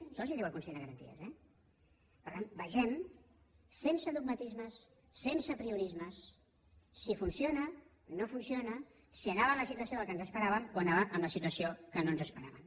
això els ho diu el consell de garanties eh per tant vegem sense dogmatismes sense apriorismes si funciona no funciona si anava en la situació del que ens esperàvem o anava en la situació que no ens esperàvem